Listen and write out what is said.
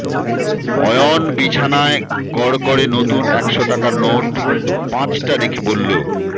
অয়ন বিছানায় কড়কড়ে নতুন একশো টাকার নোট পাঁচটা রেখে বললো